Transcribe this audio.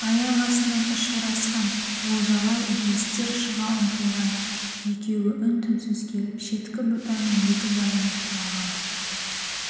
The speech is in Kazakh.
аяқ астынан ұшырасқан олжаға естер шыға ұмтылған екеуі үн-түнсіз келіп шеткі бұтаның екі жағына тұра қалды